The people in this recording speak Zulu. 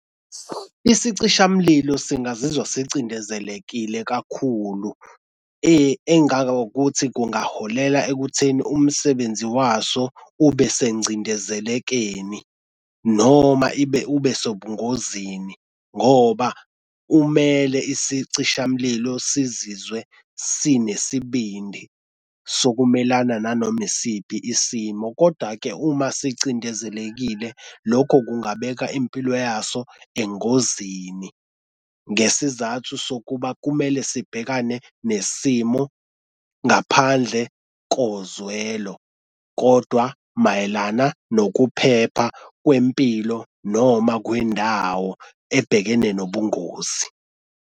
Isicishamlilo singazizwa sicindezelekile kakhulu, engangokuthi kungaholela ekutheni umsebenzi waso ube sengcindezelekeni, noma ibe ube sengozini ngoba umele isicishamlilo sizizwe sinesibindi sokumelana nanoma isiphi isimo koda-ke uma sicindezelekile lokho kungabeka impilo yaso engozini, ngesizathu sokuba kumele sibhekane nesimo ngaphandle koze kwelo kodwa mayelana nokuphepha kwempilo noma kwendawo ebhekene nobungozi.